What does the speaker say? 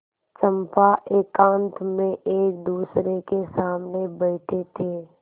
चंपा एकांत में एकदूसरे के सामने बैठे थे